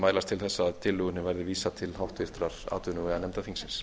mælast til þess að tillögunni verði vísað til háttvirtrar atvinnuveganefndar þingsins